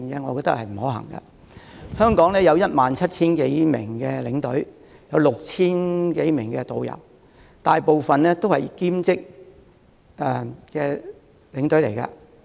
目前，香港有 17,000 多名領隊及 6,000 多名導遊，他們大部分是以兼職身份帶團。